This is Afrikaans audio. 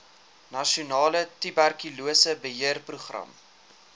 nasionale tuberkulose beheerprogram